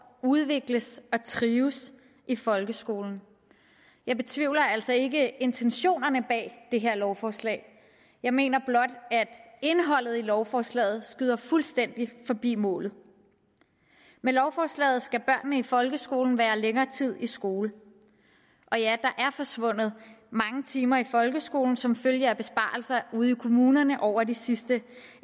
udvikles og trives i folkeskolen jeg betvivler altså ikke intentionerne bag det her lovforslag jeg mener blot at indholdet i lovforslaget skyder fuldstændig forbi målet med lovforslaget skal børnene i folkeskolen være længere tid i skole og ja der er forsvundet mange timer i folkeskolen som følge af besparelser ude i kommunerne over det sidste